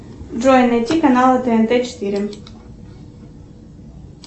джой найти канал тнт четыре